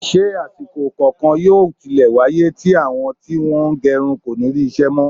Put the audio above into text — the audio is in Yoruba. Ṣé àsìkò kankan yóò tilẹ̀ wáyé tí àwọn tí wọ́n ń gẹrun kò ní rí iṣẹ́ mọ́?